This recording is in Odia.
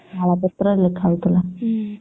ତାଳ ପତ୍ର ରେ ବି ଲେଖା ହଉଥିଲା